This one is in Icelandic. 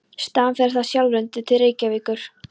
Þaðan fer það sjálfrennandi til Reykjavíkur.